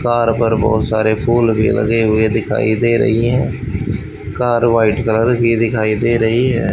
Car पर बहोत सारे फूल भी लगे हुए दिखाई दे रही है कार व्हाइट कलर की दिखाई दे रही है।